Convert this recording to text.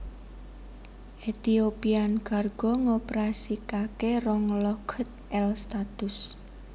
Ethiopian Cargo ngoperasikaké rong Lockheed L satus